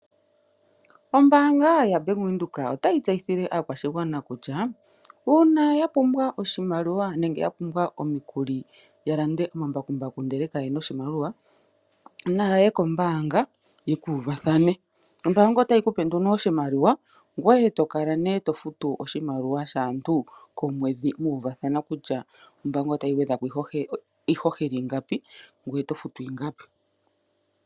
Ombanga yaBank Windhoek otayi tseyithile aakwashigwana kutya una ya pumbwa oshimaliwa nenge ya pumbwa omikuli ya lande omambakumbaku ndele ka yena oshimaliwa naye kombanga yeku uvathane. Ombanga otayi kupe nduno oshimaliwa gweye tokala ne tofutu oshimaliwa shaantu komwedhi wu uvathana kutya ombanga otayi gwedhako iihohela iingapi nangoye oto futu ingapi.